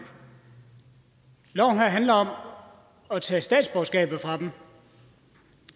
handler om at tage statsborgerskabet fra dem